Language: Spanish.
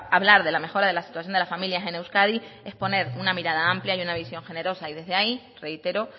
hablar de la mejora de la situación de las familias en euskadi es poner una mirada amplia y una visión generosa y desde ahí reitero